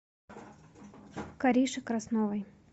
кариши красновой